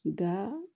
Nka